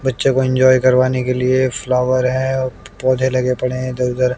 बच्चों को इंजॉय कर वाने के लिए फ्लावर है और पौधे लगे पड़े हैं इधर उधर--